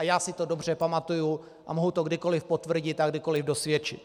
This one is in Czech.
A já si to dobře pamatuji a mohu to kdykoli potvrdit a kdykoli dosvědčit.